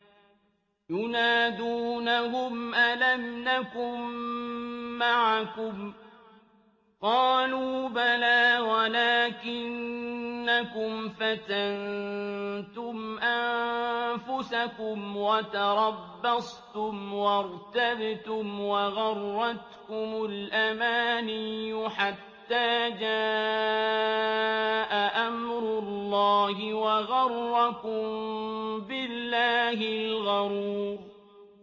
يُنَادُونَهُمْ أَلَمْ نَكُن مَّعَكُمْ ۖ قَالُوا بَلَىٰ وَلَٰكِنَّكُمْ فَتَنتُمْ أَنفُسَكُمْ وَتَرَبَّصْتُمْ وَارْتَبْتُمْ وَغَرَّتْكُمُ الْأَمَانِيُّ حَتَّىٰ جَاءَ أَمْرُ اللَّهِ وَغَرَّكُم بِاللَّهِ الْغَرُورُ